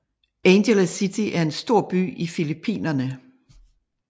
Angeles City er en stor by i Filippinerne